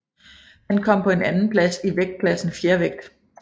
Han kom på en andenplads i vægtklassen fjervægt